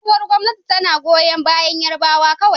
Sabuwar gwamnati tana goyon bayan Yarbawa kawai